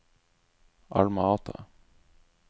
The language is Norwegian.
Alma Ata